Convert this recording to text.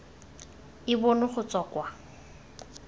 e bonwe go tswa kwa